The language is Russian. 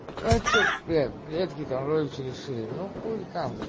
че привет привет китарович решили ну ходит там